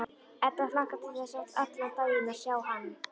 Edda hlakkar til þess allan daginn að sjá hann.